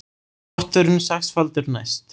Potturinn sexfaldur næst